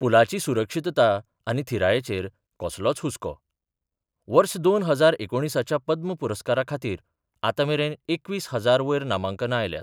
पूलाची सुरक्षितता आनी थीरायेचेर कसलोच हुस्को वर्स दोन हजार एकुणीसाच्या पद्म पुरस्कारा खातीर आतामेरेन एकवीस हजारा वयर नामांकना आयल्यात.